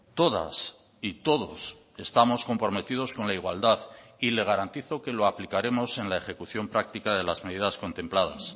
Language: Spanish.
todas y todos estamos comprometidos con la igualdad y le garantizo que lo aplicaremos en la ejecución práctica de las medidas contempladas